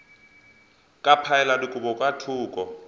ka phaela dikobo ka thoko